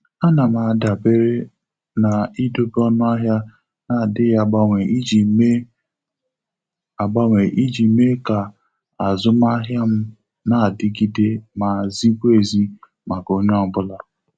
A na m adabere na-idobe ọnụahịa na-adighị agbanwe iji mee agbanwe iji mee ka azụmahịa m na-adigide ma zikwa ezi maka onye ọ bụla.